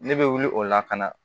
Ne bɛ wuli o la ka na